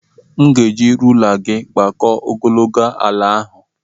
M ga-eji rula gị agbakọ ogologo ala ahụ.